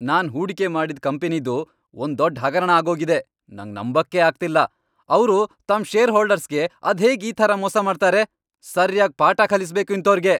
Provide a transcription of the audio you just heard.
ನಾನ್ ಹೂಡಿಕೆ ಮಾಡಿದ್ ಕಂಪನಿದು ಒಂದ್ ದೊಡ್ಡ್ ಹಗರಣ ಆಗೋಗಿದೆ. ನಂಗ್ ನಂಬಕ್ಕೇ ಆಗ್ತಿಲ್ಲ.. ಅವ್ರು ತಮ್ ಷೇರ್ಹೋಲ್ಡರ್ಸ್ಗೆ ಅದ್ಹೇಗ್ ಈ ಥರ ಮೋಸ ಮಾಡ್ತಾರೆ? ಸರ್ಯಾಗ್ ಪಾಠ ಕಲಿಸ್ಬೇಕು ಇಂಥೋರ್ಗೆ.